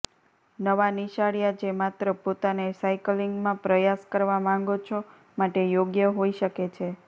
નવા નિશાળીયા જે માત્ર પોતાને સાયક્લિંગમાં પ્રયાસ કરવા માંગો છો માટે યોગ્ય હોઈ શકે છે